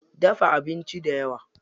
Dafa abinci dayawa.